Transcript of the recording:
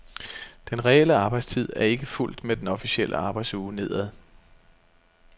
Den reelle arbejdstid er ikke fulgt med den officielle arbejdsuge nedad.